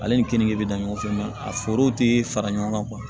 Ale ni keninge bɛ da ɲɔgɔn fɛ a foro tɛ fara ɲɔgɔn kan